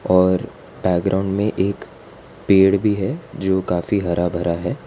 और बैकग्राउंड में एक पेड़ भी है जो काफी हरा भरा है।